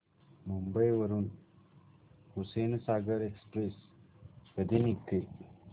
मुंबई वरून हुसेनसागर एक्सप्रेस कधी निघते